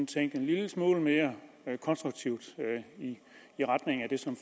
tænkt en lille smule mere konstruktivt i retning af det som